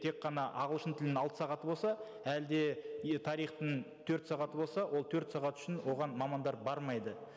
тек қана ағылшын тілінің алты сағаты болса әлде тарихтың төрт сағаты болса ол төрт сағат үшін оған мамандар бармайды